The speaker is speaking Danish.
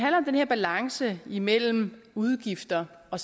her balance imellem udgifter og